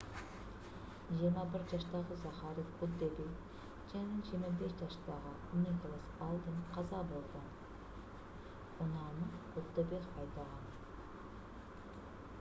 21 жаштагы захари куддебек жана 25 жаштагы николас алден каза болгон унааны куддебек айдаган